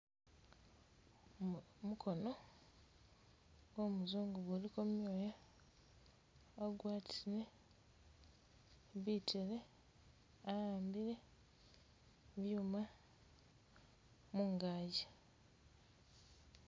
Mukono gw'omuzungu kuliko byoya wakwatisile bitele a'ambile byuma mungakyi